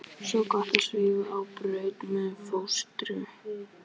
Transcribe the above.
Svo gott að svífa á braut með fóstru.